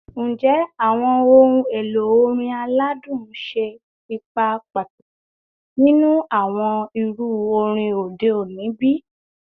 Njẹ awọn ohun elo orin aladun ṣe ipa pataki ninu awọn iru orin ode oni bi?